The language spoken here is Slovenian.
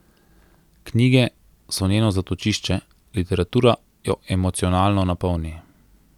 Knjige so njeno zatočišče, literatura jo emocionalno napolni.